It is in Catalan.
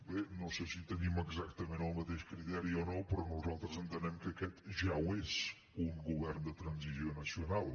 bé no sé si tenim exac·tament el mateix criteri o no però nosaltres entenem que aquest ja ho és un govern de transició nacional